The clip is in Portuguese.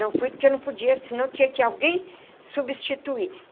Não fui porque eu não podia, senão tinha que alguém substituir.